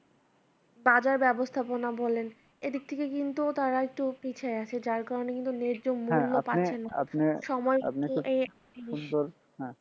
বাজার ব্যবস্থাপনা বলেন এইদিক থেকে কিন্তু তারা একটু পিছিয়ে আছে যার কারণে কিন্তু ন্যায্য মুল্য পাচ্ছেনা সুন্দর হ্যাঁ আপনি আপনি আপনি